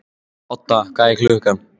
Odda, hvað er klukkan?